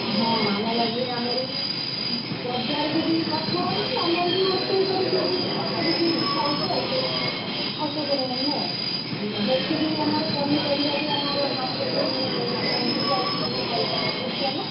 ହଁ ଆମ ବାଡିରେ ଆମର ବି ବଜାରକୁ ବି ପଠାହଉଛି ଆମରବି ରୋଷେଇକରିକି ବି ଅଳ୍ପ କିଛି ଖାଉଛୁ ଆଉ ସେଇ ଅଳ୍ପ ପରିମାଣରେ ଆଉ ସେଥିପାଇଁ ଆମର ପନିପରିବା ବି ଆମର market ରୁ କିଣା ହଉନି ବଞ୍ଚିଯାଉଛି କିଛି ପଇସାଟା ବୁଝୁଛନା।